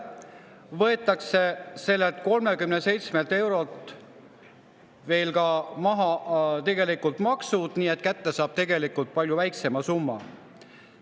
Lisaks võetakse sellelt 37 eurolt veel ka maksud maha, nii et kätte saab tegelikult palju väiksema summa.